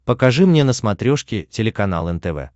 покажи мне на смотрешке телеканал нтв